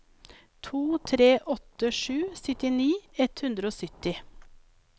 to tre åtte sju syttini ett hundre og sytti